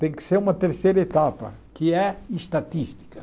Tem que ser uma terceira etapa, que é estatística.